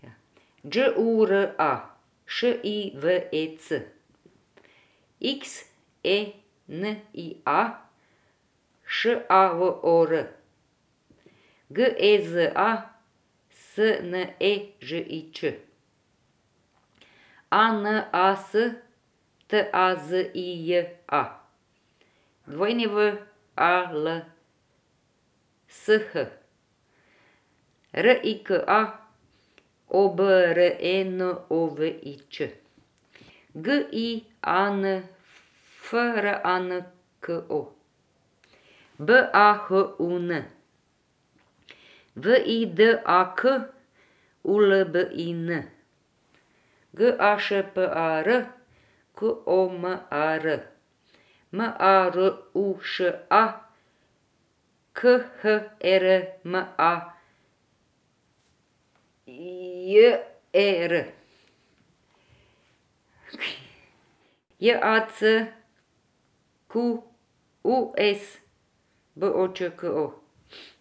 Đ U R A, Š I V E C; X E N I A, Š A V O R; G E Z A, S N E Ž I Č; A N A S T A Z I J A, W A L S H; R I K A, O B R E N O V I Ć; G I A N F R A N C O, B A H U N; V I D A K, U L B I N; G A Š P A R, K O M A R; M A R U Š A, K H E R M A J E R; J A C Q U E S, B O Č K O.